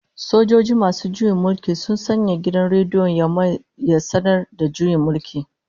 Sojoji masu juyin mulki sun sanya gidan rediyon Yamai ya sanar da juyin mulki